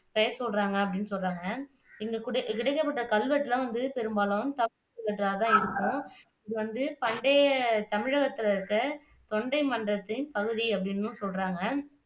பெயர் சொல்றாங்க அப்படின்னு சொல்றாங்க இங்க கிடைக்கப்பெற்ற கல்வெட்டெல்லாம் வந்து பெரும்பாலும் கல்வெட்டாதான் இருக்கும் இது வந்து பண்டைய தமிழகத்துல இருக்கிற தொண்டை மண்டலத்தின் ஒரு பகுதி அப்படின்னும் சொல்றாங்க